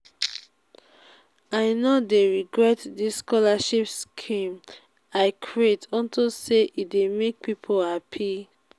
i no dey regret dis scholarship scheme i create unto say e dey make people happy